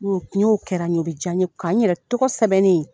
N'o n'o kɛra n ɲe, o bɛ diaɲe, k'an yɛrɛ tɔgɔ sɛbɛnnen ye